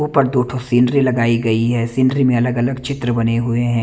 ऊपर दो ठो सिंधरी लगाई गयी है सिंधरी में अलग अलग चित्र बने हुए हैं।